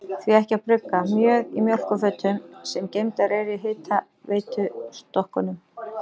Því ekki að brugga mjöð í mjólkurfötum, sem geymdar eru í hitaveitustokkunum?